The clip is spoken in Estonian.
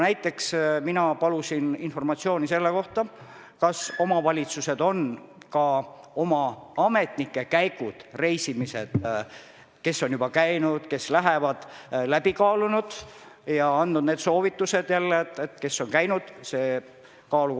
Ma küsin teilt, kuidas on Tallinnast ja kogu Harjumaalt kaugemal asuvad regioonid, vallad ja linnad võimalikuks kriisiks valmis.